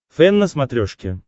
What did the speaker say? фэн на смотрешке